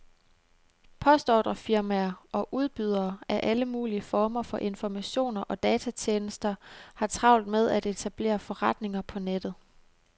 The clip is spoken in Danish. Postordrefirmaer og udbydere af alle mulige former for informationer og datatjenester har travlt med at etablere forretninger på nettet.